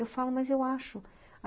Eu falo, mas eu acho.